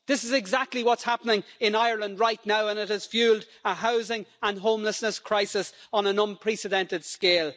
This is exactly what's happening in Ireland right now, and it has fuelled a housing and homelessness crisis on an unprecedented scale.